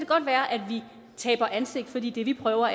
godt være at vi taber ansigt fordi det vi prøver